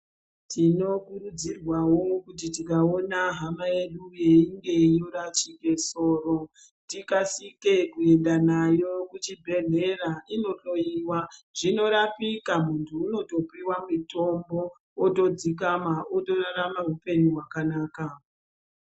Tinokurudzirwavo kuti tikaona hama yedu yeinge yeirashike soro. Tikasike kuenda nayo kuchibhedhlera inohloiwa zvinorapika. Muntu unotopiva mitombo otodzikama otorarama hupenyu hwakanaka.